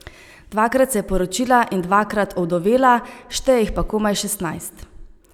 Dvakrat se je poročila in dvakrat ovdovela, šteje jih pa komaj šestnajst.